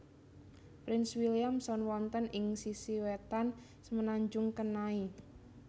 Prince William Sound wonten ing sisi wetan Semenanjung Kenai